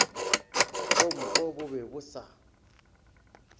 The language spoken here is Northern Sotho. kompo bo be bo sa